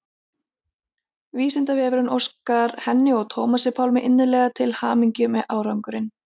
Vísindavefurinn óskar henni og Tómasi Pálmi innilega til hamingju með árangurinn.